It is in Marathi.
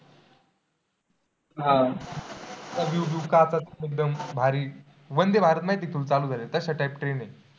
आह एकदम भारी, वंदे भारत माहीत आहे का तुला चालू झालंय? तशा type train आहे.